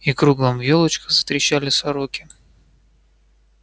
и кругом в ёлочках затрещали сороки